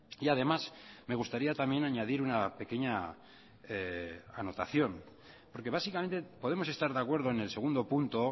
y además me gustaría también añadir una pequeña anotación porque básicamente podemos estar de acuerdo en el segundo punto